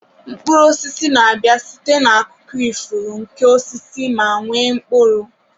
Mkpụrụ osisi na-abịa site na akụkụ ifuru nke osisi ma nwee mkpụrụ.